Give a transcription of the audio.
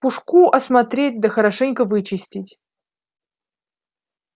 пушку осмотреть да хорошенько вычистить